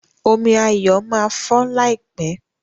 Omí Ayo má fọ láìpé.